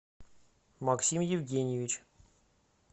максим евгеньевич